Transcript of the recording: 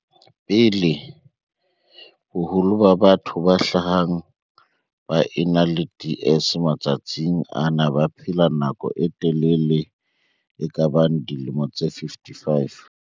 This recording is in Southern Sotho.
pele, boholo ba batho ba hlahang ba ena le DS matsatsing ana ba baphela nako e telele e kabang dilemo tse 55.